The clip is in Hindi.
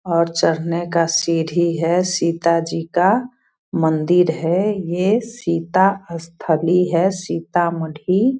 और चढ़ने का सीढ़ी है सीता जी का मंदिर है ये सीता स्थली है सीतामढ़ी।